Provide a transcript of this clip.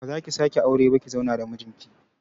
Ba zaki sake aure ba ki zauna da mijin ki